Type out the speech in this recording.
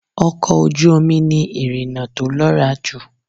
Ọkọ̀ ojú omi ni ìrìna tó lọ́ra jù.